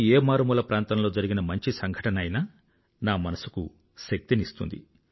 దేశంలోని ఏ మారుమూల ప్రాంతంలో జరిగిన మంచి సంఘటన అయినా నా మనసుకు శక్తిని ఇస్తుంది